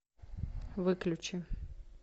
выключи